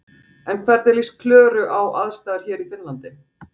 En hvernig líst Klöru á aðstæður hér í Finnlandi?